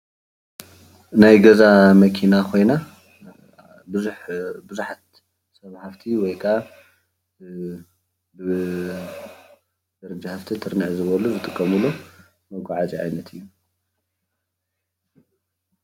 ናይ ገዛ መኪና ኮይና ቡዙሓት ሰብ ሃፍቲ ወይከዓ ብደረጃ ሃፍቲ ትርንዕ ዝበሉ ዝጥቀምሉ መጓዓዝያ እዩ፡፡